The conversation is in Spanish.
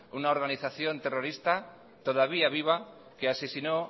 una organización terrorista todavía viva que asesinó